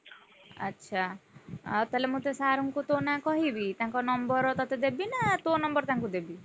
ଆଚ୍ଛା, ଆଉ ତାହେଲେ ମୁଁ ସେ sir ଙ୍କୁ ତୋ ନାଁ କହିବି। ତାଙ୍କ number ତତେ ଦେବି ନା, ତୋ number ତାଙ୍କୁଦେବି?